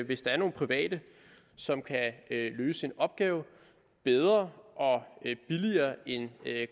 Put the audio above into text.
hvis der er nogle private som kan løse en opgave bedre og billigere end